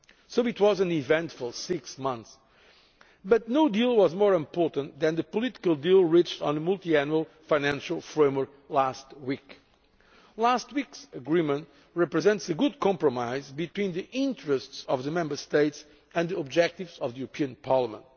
So it was an eventful six months, but no deal was more important than the political deal reached on the multiannual financial framework last week. Last week's agreement represents a good compromise between the interests of the Member States and the objectives of the European Parliament.